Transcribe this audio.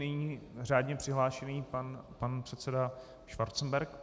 Nyní řádně přihlášený pan předseda Schwarzenberg.